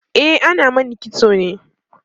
e ana Mani kitso ne